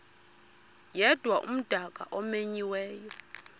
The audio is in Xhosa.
yedwa umdaka omenyiweyo